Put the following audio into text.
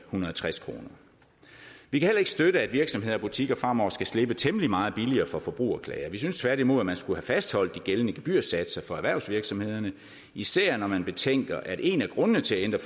hundrede og tres kroner vi kan heller ikke støtte at virksomheder og butikker fremover skal slippe temmelig meget billigere for forbrugerklager vi synes tværtimod at man skulle have fastholdt de gældende gebyrsatser for erhvervsvirksomhederne især når man betænker at en af grundene til at ændre